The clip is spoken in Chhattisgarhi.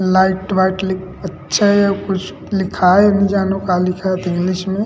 लाइट वाइट अच्छय कुछ लिखाय नि जानो का लिखत इंग्लिश में --